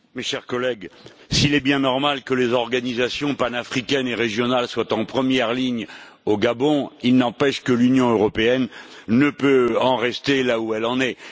Monsieur le Président, mes chers collègues, s'il est bien normal que les organisations panafricaines et régionales soient en première ligne au Gabon, il n'empêche que l'Union européenne ne peut en rester là où elle en est.